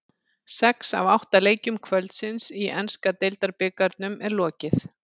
Sex af átta leikjum kvöldsins í enska deildabikarnum er lokið.